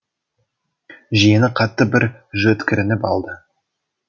жиені қатты бір жөткірініп алды